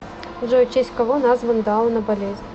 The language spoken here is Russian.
джой в честь кого назван дауна болезнь